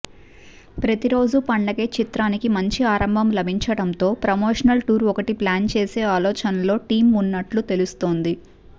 ప్రతిరోజూ పండగే చిత్రానికి మంచి ఆరంభం లభించడంతో ప్రమోషనల్ టూర్ ఒకటి ప్లాన్ చేసే ఆలోచనలో టీమ్ ఉన్నట్లు తెలుస్తోంది